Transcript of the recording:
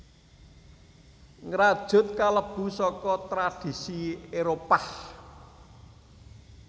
Ngrajut kalebu saka tradhisi Éropah